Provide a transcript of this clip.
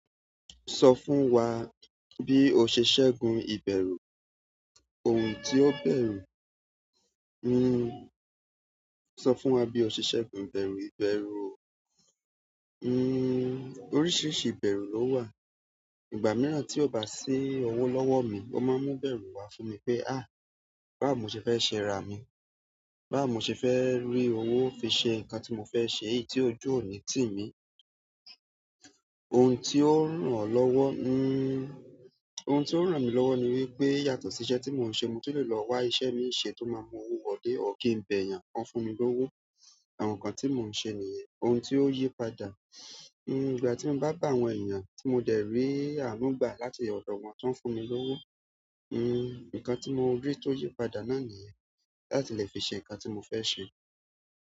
Sọ fún wa bí o ṣe ṣẹ́gun ìbẹ̀rú, ohun tí ó bẹ̀rù. Sọ fún wa bí o ṣe ṣẹ́gun ìbẹ̀rú, ìbẹ̀rú, oríṣiríṣi ìbẹ̀rú ló wà. Ìgbà mìíràn tí ó bá sí owó lọ́wọ́ mi, o máa ń mú ìbẹ̀rú wá fún mi pé, "báwo ṣe fẹ́ ṣẹ ra mi, báwo ṣe fẹ́ rí owó fi ṣe nǹkan tí mo fẹ́ ṣe yí tí ojú òní tì mí". Ohun tí ó ràn lọ́wọ́, ohun tí ó ń ràn mí lọ́wọ́ ni wípé yàtọ̀ sí iṣẹ́ tí mo ń ṣe, mo ti le lọ wá iṣẹ́ mi ṣe tó máa ń mú owó wọlé, or ki ń bẹ eeyàn, ki wọ́n fún mi lówó, àwọn nǹkan tí mò ń ṣe nìyẹn. Ohun tí ó yí padà, ìgbà tí mo bá bá àwọn èèyàn tí mo dẹ̀ rí ànúgbà láti ọ̀dọ̀ wọn ti won fún mi lówó, nǹkan tí mo rí tó yí padà náà nìyẹn, láti lè fi ṣe nǹkan tí mo fẹ́ ṣe.